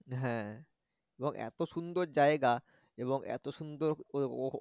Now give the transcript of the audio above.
হ্যা এবং এত সুন্দর জায়গা এবং এত সুন্দর